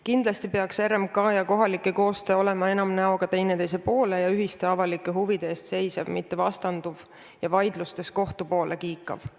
Kindlasti peaks RMK ja kohalike koostöö olema enam näoga teineteise poole ja ühiste avalike huvide eest seisev, mitte vastanduv ja vaidlustes kohtu poole kiikav.